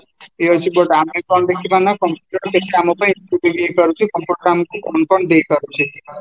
ଦେଖିବା ନା computer କାମ ପାଇଁ ହେଇପାରୁଛି computer କାମକୁ confirm ଦେଇପାରୁଛି